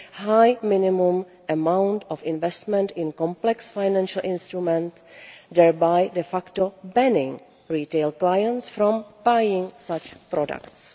high minimum amount of investment in complex financial instruments, thereby de facto barring retail clients from buying such products.